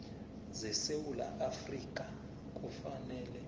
zesewula afrika kufanele